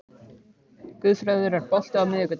Guðfreður, er bolti á miðvikudaginn?